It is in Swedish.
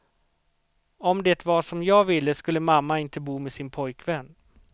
Om det var som jag ville skulle mamma inte bo med sin pojkvän.